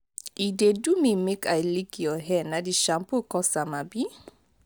e dey do me make i lick your hair na the shampoo cause am abi